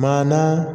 Maana